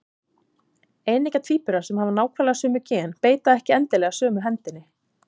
Eineggja tvíburar sem hafa nákvæmlega sömu gen beita ekki endilega sömu hendinni.